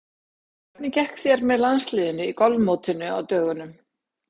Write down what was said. Hvernig gekk þér með landsliðinu í golfmótinu á dögunum?